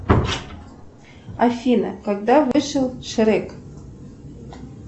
афина когда вышел шрек